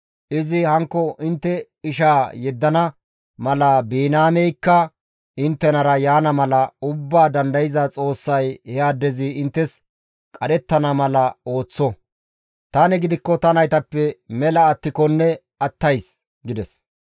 Izi hankko intte ishaa yeddana mala Biniyaameykka inttenara simmi yaana mala Ubbaa Dandayza Xoossay he addezi inttes qadhettana mala ooththo; tani gidikko ta naytappe mela attikonne attays» gides.